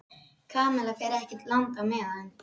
Kamilla fer ekkert langt á meðan